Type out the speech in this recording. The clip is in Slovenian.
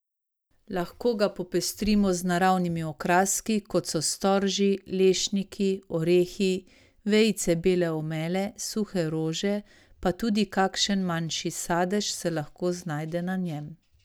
Lahko ga popestrimo z naravnimi okraski, kot so storži, lešniki, orehi, vejice bele omele, suhe rože, pa tudi kakšen manjši sadež se lahko znajde na njem.